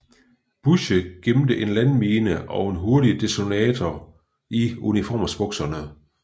Bussche gemte en landmine og en hurtig detonator i uniformsbukserne